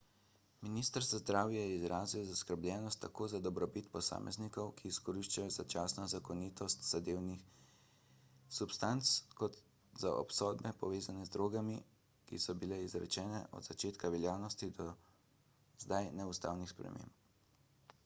minister za zdravje je izrazil zaskrbljenost tako za dobrobit posameznikov ki izkoriščajo začasno zakonitost zadevnih substanc kot za obsodbe povezane z drogami ki so bile izrečene od začetka veljavnosti zdaj neustavnih sprememb